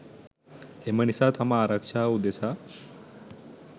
එම නිසා තම ආරක්‍ෂාව උදෙසා